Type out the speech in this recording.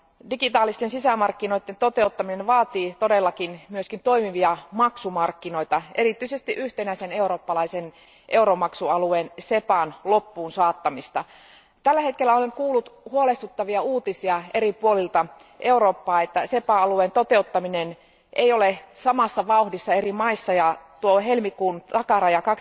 Digitaalisten sisämarkkinoiden toteuttaminen vaatii todellakin myöskin toimivia maksumarkkinoita, erityisesti yhtenäisen eurooppalaisen euromaksualueen SEPAn loppuun saattamista. Tällä hetkellä olen kuullut huolestuttavia uutisia eri puolilta Eurooppaa, että SEPA alueen toteuttaminen ei ole samassa vauhdissa eri maissa ja tuo helmikuun takaraja